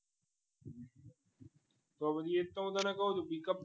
તો પછી એ તો હું તને કહું છું pickup